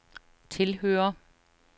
tilhører